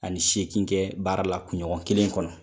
Ani seegin kɛ baara la kunɲɔgɔn kelen kɔnɔ.